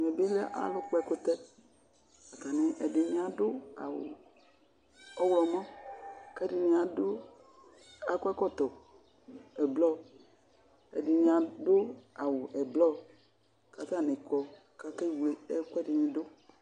Ɛmɛ bɩ lɛ alʋ kpɔ ɛkʋtɛ, ɛdɩnɩ adʋ awʋ ɔɣlɔmɔ k'ɛdɩnɩ adʋ, akɔ ɛkɔtɔ ɛblɔ, ɛdɩnɩ adʋ awʋ ɛblɔ k'ataŋɩ kɔ k'akewle ɛku ɛdɩnɩ dʋ